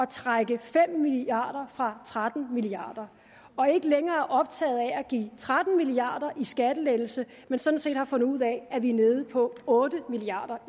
trække fem milliard kroner fra tretten milliard kroner og ikke længere er optaget af at give tretten milliard kroner i skattelettelse men sådan set har fundet ud af at vi er nede på otte milliard